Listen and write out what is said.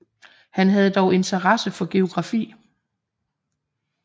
Han havde dog interesse for geografi